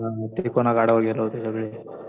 हा. ते पूर्ण गडावर गेलो होतो सगळे.